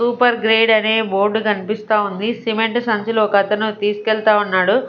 Super grade అనే board కన్పిస్తా ఉంది సిమెంట్ సంచులో ఒకతను తీసుకెళ్తా ఉన్నాడు.